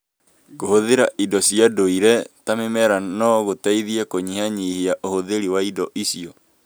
Kũhũthĩra indo cia ndũire ta mĩmera no gũteithie kũnyihanyihia ũhũthĩri wa indo icio.